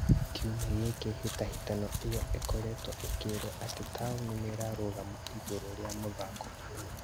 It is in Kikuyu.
Kiumia gĩkĩ hĩtahĩtano ĩyo ĩkoretwo ikĩrwo atĩ taoni nĩrarũgama igũrũ rĩa mũthako ũyũ